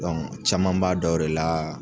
caman b'a dɔn o de la